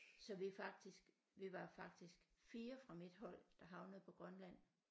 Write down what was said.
Så vi faktisk vi var faktisk 4 fra mit hold der havnede på Grønland